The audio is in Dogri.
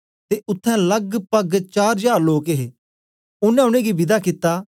ते उत्थें लगपग चार जार लोक हे ओनें उनेंगी विदा कित्ता